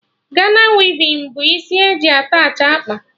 Gana wivin bụ isi eji attachị akpa